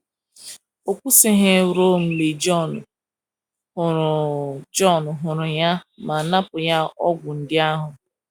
Ọ kwụsịghị ruo mgbe Jọn hụrụ Jọn hụrụ ya ma napụ ya ọgwụ ndị ahụ.